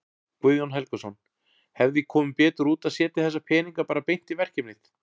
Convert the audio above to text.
Guðjón Helgason: Hefði komið betur út að setja þessa peninga bara beint í verkefnið?